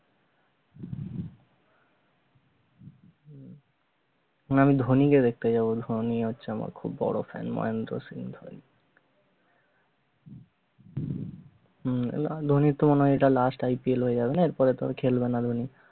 আমি ধোনী কে দেখতে যাবো, ধোনী হচ্ছে আমার খুব বড় fan মহেন্দ্র সিং ধোনী হম না ধোনীর তো মনে হয় এইটা last IPL হয়ে যাবে না এরপর তো আর খেলবে না ধোনী